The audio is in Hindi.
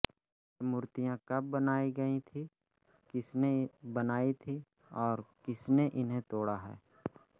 ये मूर्तियाँ कब बनाई गई थीं किसने बनाई थीं और किसने इन्हें तोड़ा है